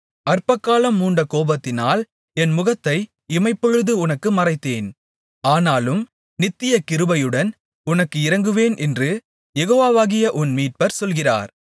அற்பகாலம் மூண்ட கோபத்தினால் என் முகத்தை இமைப்பொழுது உனக்கு மறைத்தேன் ஆனாலும் நித்திய கிருபையுடன் உனக்கு இரங்குவேன் என்று யெகோவாவாகிய உன் மீட்பர் சொல்கிறார்